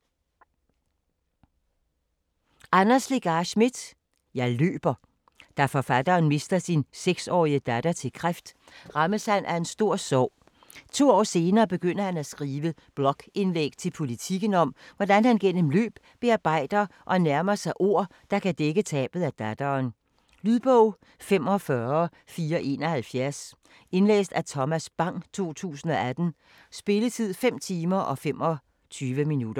Schmidt, Anders Legarth: Jeg løber Da forfatteren mister sin 6-årige datter til kræft, rammes han af en stor sorg. To år senere begynder han at skrive blogindlæg til Politiken, om hvordan han gennem løb bearbejder og nærmer sig ord, der kan dække tabet af datteren. Lydbog 45471 Indlæst af Thomas Bang, 2018. Spilletid: 5 timer, 25 minutter.